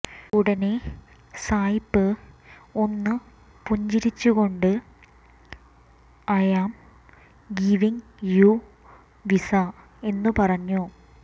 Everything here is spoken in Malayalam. ഉടനെ സായിപ്പ് ഒന്നു പുഞ്ചിരിച്ചുകൊണ്ട് I am giving you visa എന്നു പറഞ്ഞു